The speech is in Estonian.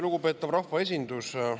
Lugupeetav rahvaesindus!